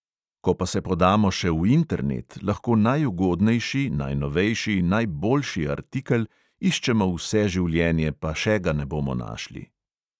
Ko pa se podamo še v internet, lahko najugodnejši, najnovejši, najboljši artikel iščemo vse življenje, pa še ga ne bomo našli.